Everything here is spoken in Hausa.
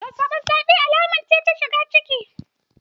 Zazzaɓin safe alama ce ta shigan ciki.